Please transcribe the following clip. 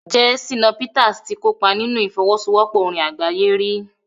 jẹ́ Shina Peters ti kópa nínú ìfọwọ́sowọ́pọ̀ orin àgbáyé rí?